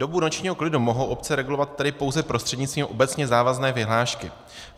Dobu nočního klidu mohou obce regulovat tedy pouze prostřednictvím obecně závazné vyhlášky.